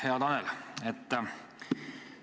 Hea Tanel!